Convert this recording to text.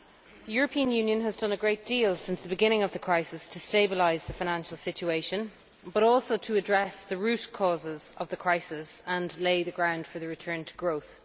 The European Union has done a great deal since the beginning of the crisis to stabilise the financial situation, and also to address the root causes of the crisis and lay the ground for the return to growth.